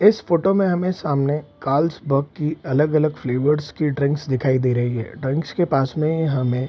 इस फोटो में हमें सामने कार्ल्सबर्ग की अलग-अलग फ्लेवर की ड्रिंक्स दिखाई दे रही है ड्रिंक्स के पास में हमें --